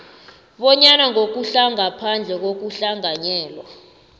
bonyana ngokungaphandle kokuhlanganyela